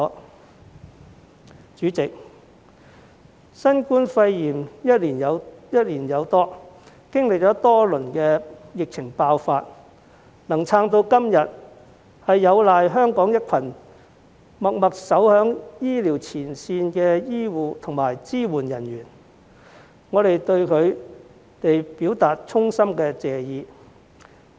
代理主席，新冠肺炎歷時超過1年，經歷多輪疫情爆發，能撐至今時今日，有賴香港一群默默守在醫療前線的醫護和支援人員，我們對他們表達衷心謝意。